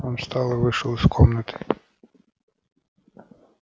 он встал и вышел из комнаты